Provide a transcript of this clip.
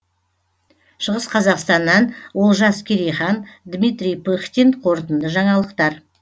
шығыс қазақстаннан олжас керейхан дмитрий пыхтин қорытынды жаңалықтар